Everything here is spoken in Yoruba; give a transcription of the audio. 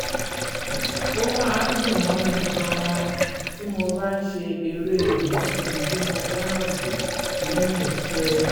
ó máa ń dùn mọ́ mi gan-an tí mo bá ń ṣe eré ìnàjú tí mo fẹ́ràn jù lẹ́yìn iṣẹ́